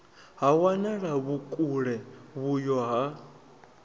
ha wanala vhukule vhuyo ha